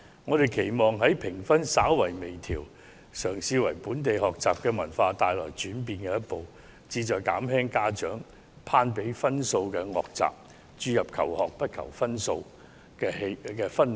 我們期望藉此項有關評級制度的微調，嘗試為本地學習文化帶來轉變的一步，此舉旨在減輕家長攀比分數的惡習，營造求學不求分數的氛圍。